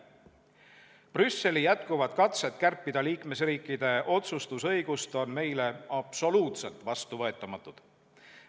Brüsseli jätkuvad katsed kärpida liikmesriikide otsustusõigust on meile absoluutselt vastuvõetamatud.